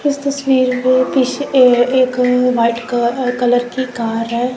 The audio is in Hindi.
इस तस्वीर में पीछे ए एक व्हाइट क कलर की कार है।